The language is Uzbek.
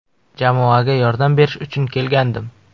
Jamoaga yordam berish uchun kelgandim.